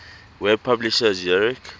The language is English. web publisher zurich